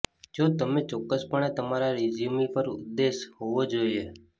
જો તમે ચોક્કસપણે તમારા રેઝ્યુમી પર ઉદ્દેશ હોવો જ જોઈએ